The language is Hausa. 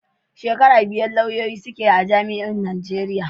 Shekara biyar lauyoyi suke a jami'o'in Najeriya.